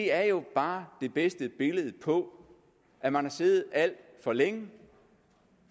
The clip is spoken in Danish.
er jo bare det bedste billede på at man har siddet alt for længe